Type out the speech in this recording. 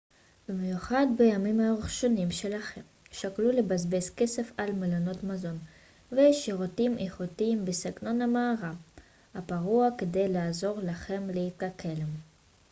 במיוחד בימים הראשונים שלכם שקלו לבזבז כסף על מלונות מזון ושירותים איכותיים בסגנון המערה הפרוע כדי לעזור לכם להתאקלם